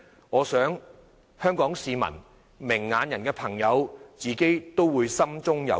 我想香港市民和明眼的朋友自己都會心中有數。